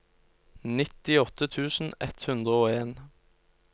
nittiåtte tusen ett hundre og en